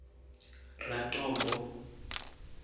ratombo